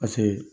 Paseke